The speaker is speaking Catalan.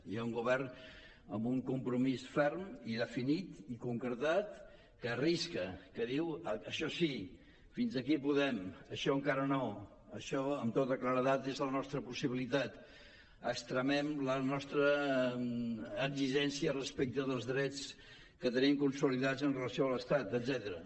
hi ha un govern amb un compromís ferm i definit i concretat que arrisca que diu això així fins aquí podem això encara no això amb tota claredat és la nostra possibilitat extremem la nostra exigència respecte dels drets que tenim consolidats amb relació a l’estat etcètera